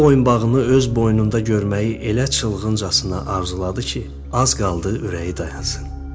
Bu boyunbağını öz boynunda görməyi elə çılğıncasına arzuladı ki, az qaldı ürəyi dayansın.